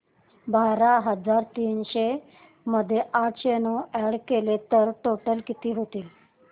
बारा हजार तीनशे मध्ये आठशे नऊ अॅड केले तर टोटल किती होईल